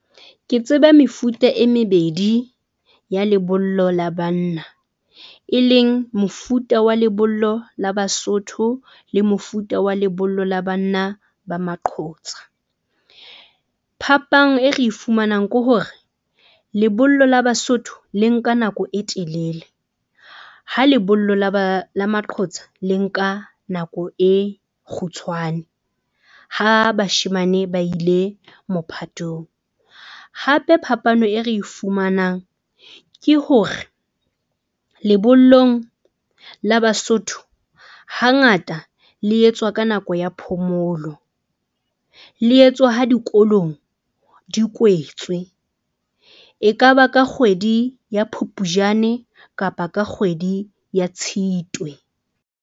Ke tseba mefuta e mebedi ya lebollo la banna, e leng mofuta wa lebollo la Basotho le mofuta wa lebollo la banna ba maqhotsa. Phapang e re e fumanang ke hore lebollo la Basotho le nka nako e telele ha lebollo la ba la maqotsa le nka nako e kgutshwane. Ha bashemane ba ile mophatong. Hape phapano e re e fumanang ke hore lebollong la Basotho hangata le etswa ka nako ya phomolo, le etswa ha dikolong di kwetswe, ekaba ka kgwedi ya Phupjane, kapa ka kgwedi ya Tshitwe.